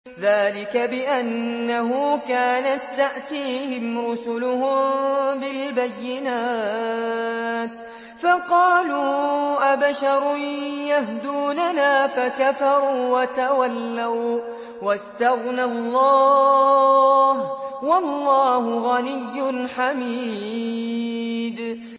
ذَٰلِكَ بِأَنَّهُ كَانَت تَّأْتِيهِمْ رُسُلُهُم بِالْبَيِّنَاتِ فَقَالُوا أَبَشَرٌ يَهْدُونَنَا فَكَفَرُوا وَتَوَلَّوا ۚ وَّاسْتَغْنَى اللَّهُ ۚ وَاللَّهُ غَنِيٌّ حَمِيدٌ